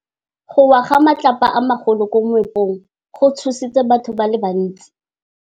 Go wa ga matlapa a magolo ko moepong go tshositse batho ba le bantsi.